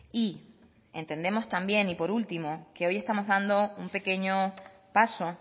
y entendemos también y por último que hoy estamos dando un pequeño paso